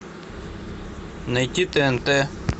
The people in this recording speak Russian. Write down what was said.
найти тнт